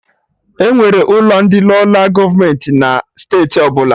Enwere ụlọ ndị Lola gọọmenti na steeti ọbụla